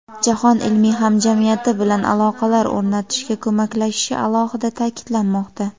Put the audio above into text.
jahon ilmiy hamjamiyati bilan aloqalar o‘rnatishga ko‘maklashishi alohida ta’kidlanmoqda.